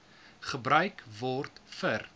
gebruik word vir